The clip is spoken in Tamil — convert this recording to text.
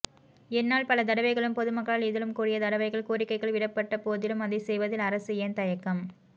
என்னால் பல தடவைகளும் பொதுமக்களால் இதிலும் கூடிய தடவைகள் கோரிக்கைகள் விடப்பட்டபோதிலும் அதைச் செய்வதில் அரசு ஏன் தயக்கம்